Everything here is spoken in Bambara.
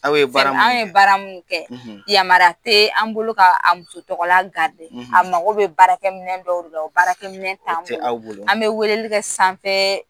Aw ye bara munun kɛ. Anw ye bara munun kɛ , yamariya te an bolo k'a muso tɔgɔla , a mago bɛ baara kɛ minɛ dɔw de la o baarakɛ t'an bolo. An be weleli kɛ sanfɛ